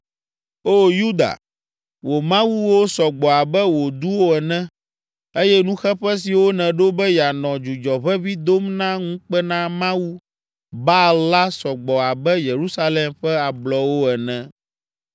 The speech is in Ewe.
O Yuda, wò mawuwo sɔ gbɔ abe wò duwo ene, eye nuxeƒe siwo nèɖo be yeanɔ dzudzɔ ʋeʋĩ dom na ŋukpenamawu, Baal la sɔ gbɔ abe Yerusalem ƒe ablɔwo ene.’